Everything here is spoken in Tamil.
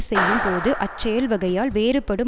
செய்யும் போது அச் செயல்வகையால் வேறுபடும்